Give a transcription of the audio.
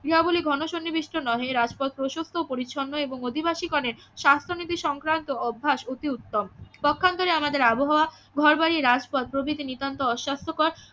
ক্রিয়াবলি ঘন সন্নিবেষ্ট নহে রাজপথ প্রশস্ত ও পরিচ্ছন্ন এবং অধিবাসীগণের স্বাস্থ্যনীতি সংক্রান্ত অভ্যাস অতি উত্তম পক্ষান্তরে আমাদের আবহাওয়া ঘর বাড়ি রাজপথ প্রভৃতি নিতান্তই অস্বাস্থ্যকর